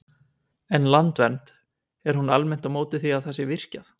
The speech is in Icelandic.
En Landvernd, er hún almennt á móti því að það sé virkjað?